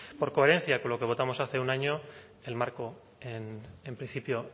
por coherencia con lo que votamos hace un año el marco en principio